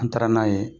An taara n'a ye